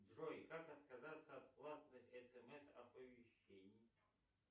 джой как отказаться от платных смс оповещений